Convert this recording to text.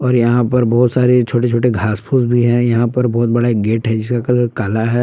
और यहां पर बहुत सारे छोटे छोटे घास फूस भी हैं यहां पर बहुत बड़ा गेट है जिसका कलर काला है।